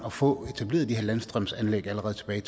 at få etableret de her landstrømsanlæg allerede tilbage